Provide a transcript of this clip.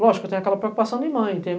Lógico, eu tenho aquela preocupação de mãe. Tem